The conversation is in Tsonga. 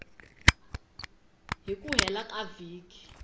hi ku hela ka vhiki